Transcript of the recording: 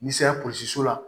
N'i sera polisiso la